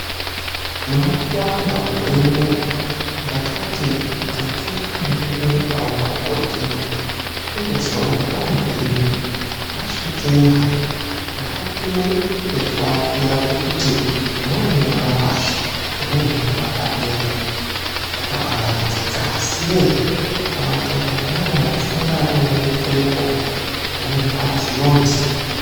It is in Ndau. Munakuwamba gore rinori, ndakati rekerai ndimboendawo pabhodhingi ndimbozwawo kuti panodii. Ndasvikeyo hayi, ndakapiwe pekuatira pekuti umweni unorara pashi, umweni unorara padenga. Zvakabarongeka, asi ye, kana ukaita munyama wekusangana nemunyama neunoitirepo, unorwadziwa musi.